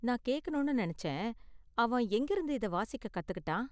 நான் கேக்கணும்னு நினைச்சேன், அவன் எங்கிருந்து இதை வாசிக்க கத்துக்கிட்டான்?